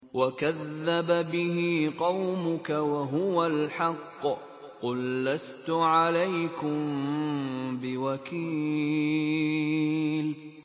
وَكَذَّبَ بِهِ قَوْمُكَ وَهُوَ الْحَقُّ ۚ قُل لَّسْتُ عَلَيْكُم بِوَكِيلٍ